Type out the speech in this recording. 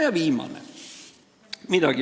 Ja viimaseks.